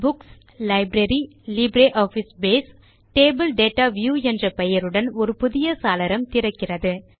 books - library - LibreOffice Base table data view என்ற பெயருடன் ஒரு புதிய சாளரம் திறக்கிறது